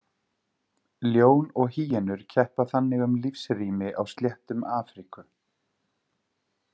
Ljón og hýenur keppa þannig um lífsrými á sléttum Afríku.